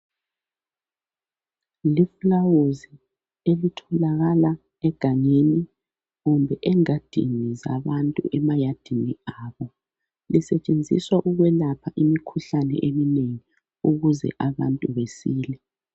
Liflawuzi elitholakala egangeni kumbe engadini zabantu emayadini abo. Lisetshenziswa ukwelapha imikhuhlane eminengi ukuze abantu besile.